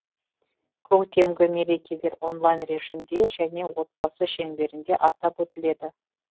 көктемгі мерекелер онлайн режимде және отбасы шеңберінде атап өтіледі